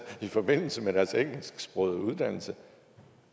i forbindelse med deres engelsksprogede uddannelse